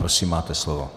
Prosím máte slovo.